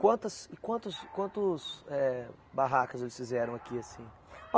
Quantas e quantos, quantos, eh barracas eles fizeram aqui, assim?